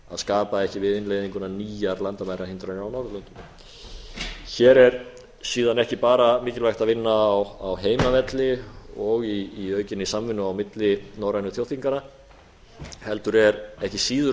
skapa ekki við innleiðinguna nýjar landamærahindranir á norðurlöndum hér er síðan ekki bara mikilvægt að vinna á heimavelli og í aukinni samvinnu á milli norrænu þjóðþinganna heldur er ekki síður